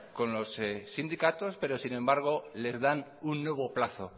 con los sindicatos pero sin embargo les dan un nuevo plazo